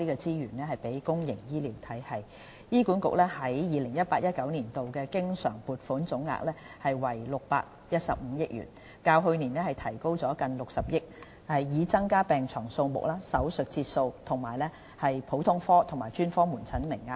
醫院管理局在 2018-2019 年度的經常撥款總額為615億元，較對上一個財政年度提高近60億元，從而增加病床數目、手術室節數、普通科和專科門診名額等。